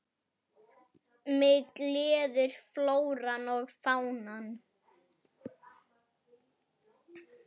Mig gleður flóran og fánan.